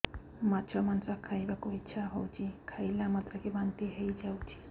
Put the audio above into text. ମାଛ ମାଂସ ଖାଇ ବାକୁ ଇଚ୍ଛା ହଉଛି ଖାଇଲା ମାତ୍ରକେ ବାନ୍ତି ହେଇଯାଉଛି